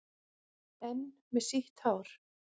Enn með sítt hár.